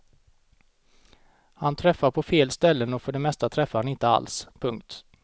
Han träffar på fel ställen och för det mesta träffar han inte alls. punkt